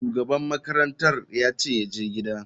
Shugaban makarantar yace yaje gida.